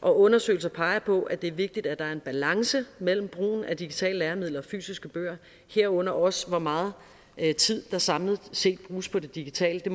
og undersøgelser peger på at det er vigtigt at der er en balance mellem brugen af digitale læremidler og fysiske bøger herunder også hvor meget tid der samlet set bruges på det digitale det